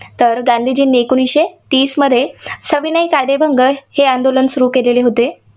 तर गांधीजींनी एकोणीसशे तीसमध्ये सविनय कायदेभंग हे आंदोलन सुरू केलेले होते.